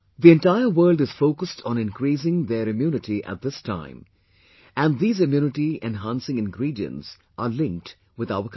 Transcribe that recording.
The entire world is focused on increasing theirimmunity at this time, and these immunity enhancing ingredients are linked with our country